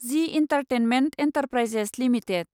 G entertainment enterprises limited